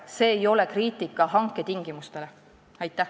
See ei ole kriitika hanke tingimuste kohta.